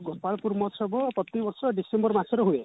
ଗୋପାଳପୁର ମହୋତ୍ସବ ପ୍ରତି ବର୍ଷ ଡ଼ିସେମ୍ବର ମାସରେ ହୁଏ